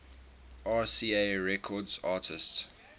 rca records artists